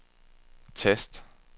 tast